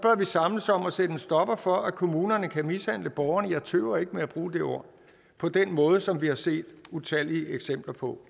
vi samles om at sætte en stopper for at kommunerne kan mishandle borgerne jeg tøver ikke med at bruge det ord på den måde som vi har set utallige eksempler på